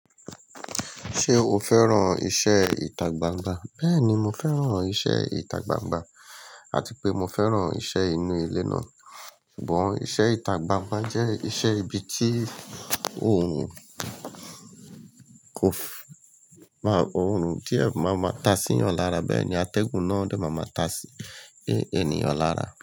Ṣé o fẹ́ràn iṣẹ́ ìtagbangba? Bẹ́ẹ̀ni, mo fẹ́ràn iṣẹ́ ìtagbangba àti pé mo fẹ́ràn iṣẹ́ inú ilé náà. Ṣùgbọ́n iṣẹ́ ìtagbangba jẹ́ iṣẹ́ ibi tí òun kò máa, òrun tí ẹ máa máa ta sí ẹ̀eyàn lára. Bẹ́ẹ̀ ni atẹ́gùn náà dẹ̀ máa máa ta sí ènìyàn lára.